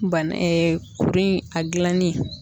Bana kuru in a gilanni.